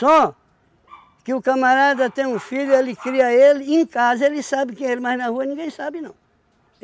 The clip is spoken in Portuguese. que o camarada tem um filho, ele cria ele, e em casa ele sabe quem é ele, mas na rua ninguém sabe não.